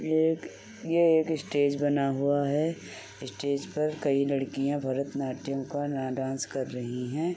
ये एक ये एक स्टेज बना हुआ है स्टेज पर कई लड़कियां भरतनाट्यम का न डांस कर रही हैं।